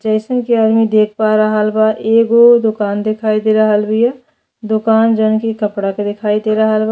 जइसन कि आदमी देख पा रहल बा एगो दोकान दिखाई दे रहल बिया। दोकान जोन कपड़ा के दिखइ दे रहल बा।